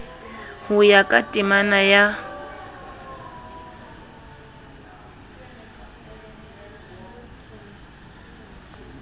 ho ya ka temana ya